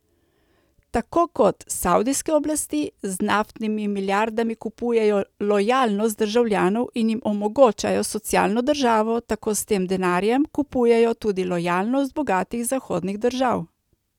Tako kot savdijske oblasti z naftnimi milijardami kupujejo lojalnost državljanov in jim omogočajo socialno državo, tako s tem denarjem kupujejo tudi lojalnost bogatih zahodnih držav.